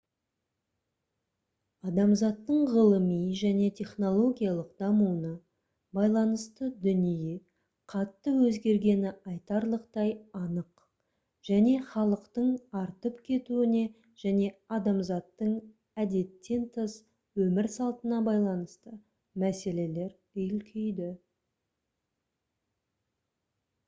адамзаттың ғылыми және технологиялық дамуына байланысты дүние қатты өзгергені айтарлықтай анық және халықтың артып кетуіне және адамзаттың әдеттен тыс өмір салтына байланысты мәселелер үлкейді